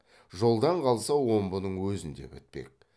жолдан қалса омбының өзінде бітпек